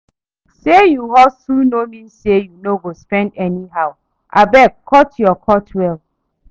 Say you hustle no mean say you go spend anyhow, abeg cut your coat well.